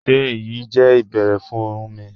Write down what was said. Ṣé èyí jẹ́ ìbẹ̀ẹ̀rẹ̀ fún mí?